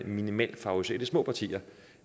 vil favorisere de små partier